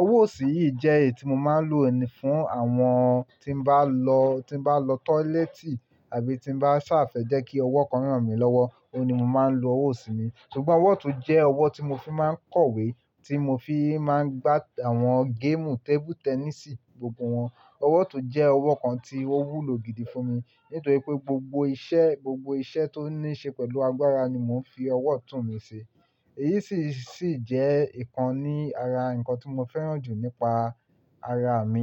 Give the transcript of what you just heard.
Ọwọ́ òsì yìí jẹ́ èyí tí mo máa ń lò ní fún àwọn tí n bá lọ, tí n bá lọ tọ́lẹ́ẹ́tì àbí tí n bá sá fẹ́ jẹ́ kí ọwọ́ kan rán mí lọ́wọ́, òun ni mo máa ń lo ọwọ́ òsì mi. Sugbọn ọwọ́ ọ̀tún jẹ́ ọwọ́ tí mo fi máa ń kọ̀wé, tí mo fi máa ń gbá àwọn géèmù tẹ́bú tẹ́nìsì gbogbo wọn. Ọwọ́ ọ̀tún jẹ́ ọwọ́ kan tí ó wúlò gidi fún mi nítorí pé gbogbo iṣẹ́, gbogbo iṣẹ́ tó ní ṣe pẹ̀lú agbára ni mò ń fi ọwọ́ ọ̀tún mi ṣe. Èyí sì, sì jẹ́ ìkan ní ara nǹkan tí mo fẹ́ràn jù nípa ara mi.